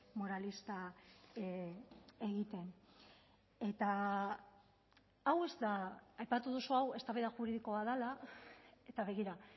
moralista egiten eta hau ez da aipatu duzu hau eztabaida juridikoa dela eta begira